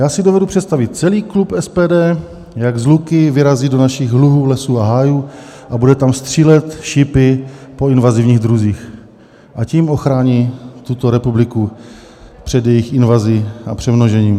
Já si dovedu představit celý klub SPD, jak s luky vyrazí do našich luhů, lesů a hájů a bude tam střílet šípy po invazivních druzích a tím ochrání tuto republiku před jejich invazí a přemnožením.